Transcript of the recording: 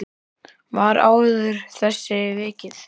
Var áður að þessu vikið.